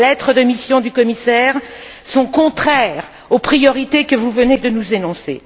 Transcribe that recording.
Les lettres de mission du commissaire sont contraires aux priorités que vous venez de nous énoncer.